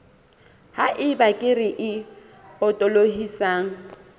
ha eba kere e potolohisang